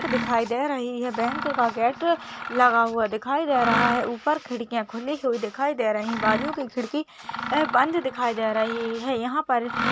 दिखाई दे रही है बैंक का गेट लगा हुआ दिखाई दे रहा है ऊपर खिड़कियां खुली हुई दिखाई दे रही बाजू की खिड़की बंद दिखाई दे रही है यहां पर --